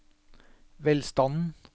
velstanden